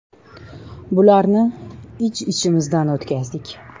Bularni ich-ichimizdan o‘tkazdik.